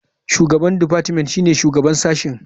Shugaban deoartment shine shugaban sashen.